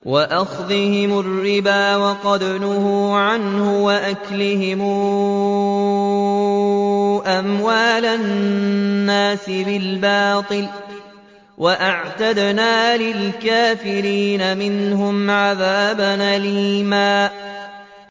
وَأَخْذِهِمُ الرِّبَا وَقَدْ نُهُوا عَنْهُ وَأَكْلِهِمْ أَمْوَالَ النَّاسِ بِالْبَاطِلِ ۚ وَأَعْتَدْنَا لِلْكَافِرِينَ مِنْهُمْ عَذَابًا أَلِيمًا